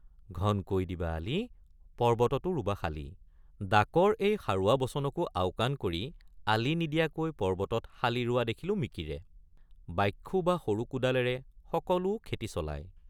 ঘনকৈ দিবা আলি পৰ্বততো ৰুবা শালি—ডাকৰ এই সাৰুৱা বচনকো আওকাণ কৰি আলি নিদিয়াকৈ পৰ্বতত শালি ৰোৱা দেখিলোঁ মিকিৰে ৷ বাখ্যু বা সৰু কোদালেৰে সকলো খেতি চলায়।